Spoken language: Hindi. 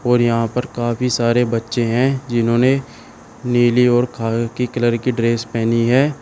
और यहां पर काफी सारे बच्चे हैं जिन्होंने नीली और खाकी कलर की ड्रेस पहनी है।